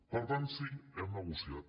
per tant sí hem negociat